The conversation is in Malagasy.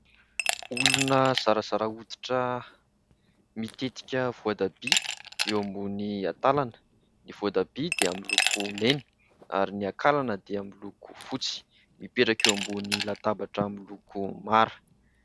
Olona zarazara hoditra mitetika voatabia eo ambon'ny akalana, ny voatabia dia miloko mena ary ny akalana dia miloko fotsy, mipetraka eo ambon'ny latabatra miloko mara.